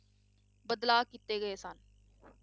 ਬਦਲਾਅ ਕੀਤੇ ਗਏ ਸਨ।